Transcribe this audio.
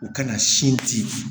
U kana sin di